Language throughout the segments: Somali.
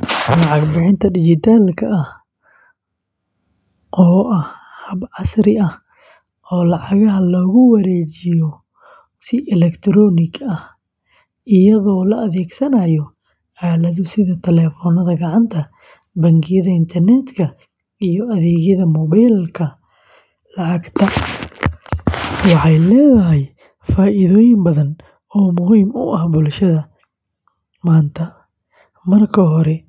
Lacag bixinta dijitaalka ah, oo ah hab casri ah oo lacagaha loogu wareejiyo si elektaroonig ah iyadoo la adeegsanayo aalado sida taleefannada gacanta, bangiyada internetka, iyo adeegyada mobile-ka lacagta, waxay leedahay faa’iidooyin badan oo muhiim u ah bulshada maanta. Marka hore,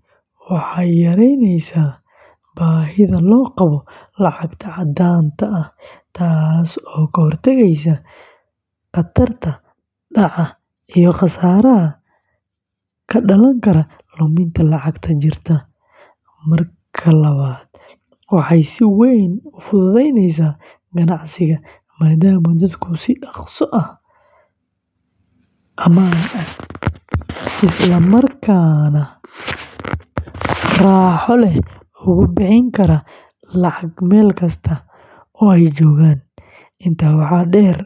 waxay yaraynaysaa baahida loo qabo lacag caddaan ah, taasoo ka hortagaysa khatarta dhaca iyo khasaaraha ka dhalan kara luminta lacagta jirta. Marka labaad, waxay si weyn u fududaynaysaa ganacsiga, maadaama dadku si dhaqso ah, ammaan ah, isla markaana raaxo leh uga bixi karaan lacag meel kasta oo ay joogaan. Intaa waxaa dheer,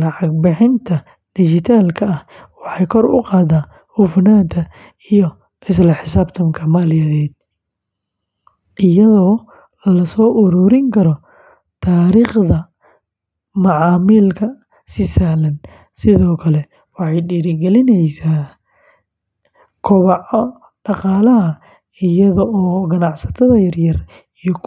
lacag bixinta dijitaalka ah waxay kor u qaadaa hufnaanta iyo isla xisaabtanka maaliyadeed, iyadoo lasoo ururin karo taariikhda macaamilka si sahlan. Sidoo kale, waxay dhiirrigelisaa koboca dhaqaalaha iyada oo ganacsatada yaryar iyo kuwa dhexe.